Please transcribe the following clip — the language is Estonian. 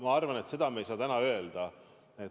Ma arvan, et seda me ei saa täna öelda.